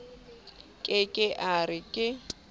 ke ke a re ke